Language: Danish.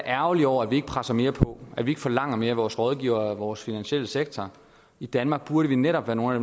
ærgerlig over at vi ikke presser mere på at vi ikke forlanger mere af vores rådgivere og af vores finansielle sektor i danmark burde vi netop være nogle af